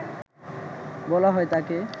বলা হয় তাঁকে